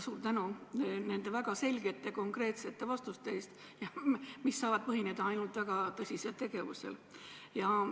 Suur tänu nende väga selgete ja konkreetsete vastuste eest, mis saavad põhineda ainult väga tõsisel tegevusel!